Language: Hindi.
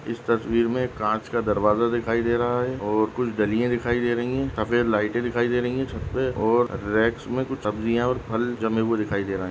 इस तस्वीर मे एक कांच का दरवाजा दिखाई दे रहा है और कुछ डलिया दिखाई दे रही है सफेद लाइटे दिखाई दे रही है छत पे और रैक्स मे कुछ सब्जियां और फल जमे हुए दिखाई दे रहे है।